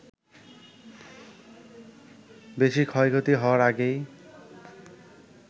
বেশি ক্ষয়ক্ষতি হওয়ার আগেই